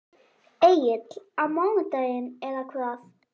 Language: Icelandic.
Egill: Á mánudaginn eða hvað?